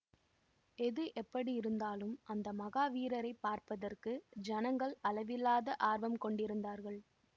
எது எப்படியிருந்தாலும் அந்த மகா வீரரை பார்ப்பதற்கு ஜனங்கள் அளவில்லாத ஆர்வம் கொண்டிருந்தார்கள்